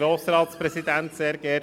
Kommissionspräsident der FiKo.